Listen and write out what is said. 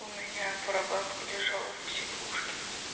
у меня прабабка лежала в психушке